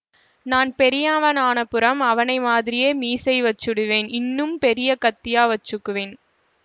நான் பெரியாவனானப்புறம் அவனை மாதிரியே மீசை வச்சுடுவேன் இன்னும் பெரிய கத்தியா வெச்சுக்குவேன்